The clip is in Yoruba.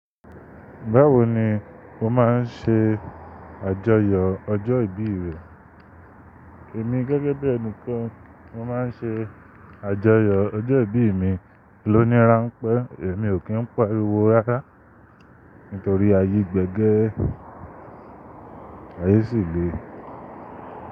Báwo ni o máa ń ṣe àjọyọ̀ ọjọ́ ìbí rẹ? Èmi gẹ́gẹ́ bí ẹni kan, mo máa ń ṣe àjọyọ̀ ọjọ́ ìbí mi lóòní ránpẹ́. Èmi ò kí ń pariwo rárá nítorí ayé gbẹgẹ, ayé sì le.